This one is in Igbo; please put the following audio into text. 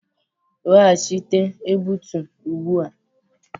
Weghachite egbutu ugbu a.